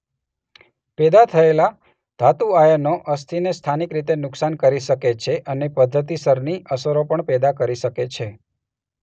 પેદા થયેલા ધાતુ આયનો અસ્થિને સ્થાનિક રીતે નુકસાન કરી શકે છે અને પદ્ધતિસરની અસરો પણ પેદા કરી શકે છે.